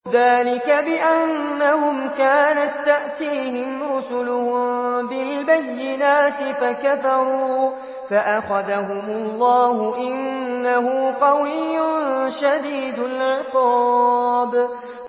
ذَٰلِكَ بِأَنَّهُمْ كَانَت تَّأْتِيهِمْ رُسُلُهُم بِالْبَيِّنَاتِ فَكَفَرُوا فَأَخَذَهُمُ اللَّهُ ۚ إِنَّهُ قَوِيٌّ شَدِيدُ الْعِقَابِ